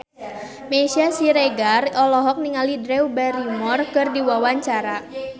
Meisya Siregar olohok ningali Drew Barrymore keur diwawancara